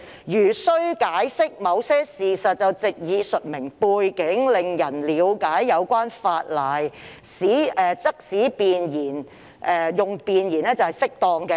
如需解釋某些事實，藉以述明背景，令人了解有關法例，則使用弁言是適當的。